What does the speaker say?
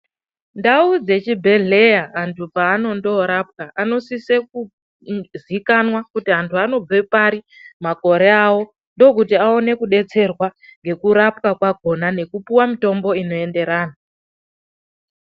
Ndau dzechibhehlera vantu panondoorapwa vanosise kuzikanwa kuti vantu vanobve pari, makore avo ndokuti vawone kudetserwa ngekurapwa kwakona nekupiwe mitombo inoenderana.